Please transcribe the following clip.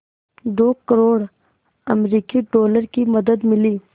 दो करोड़ अमरिकी डॉलर की मदद मिली